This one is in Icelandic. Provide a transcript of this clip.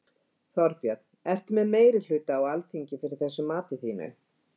Þorbjörn: Ertu með meirihluta á Alþingi fyrir þessu mati þínu?